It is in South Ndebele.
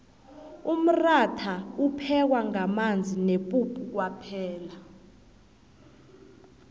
umratha uphekwa ngamanzi nepuphu kwaphela